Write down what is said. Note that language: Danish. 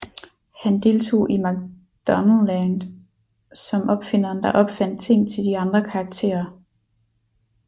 Han deltog i McDonaldland som opfinderen der opfandt ting til de andre karakterer